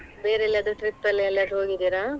ಬೇರೆ ಎಲ್ಲಿ ಆದ್ರೂ trip ಎಲ್ಲಾ ಎಲ್ಲಿ ಯಾದ್ರೂ ಹೋಗಿದಿರಾ?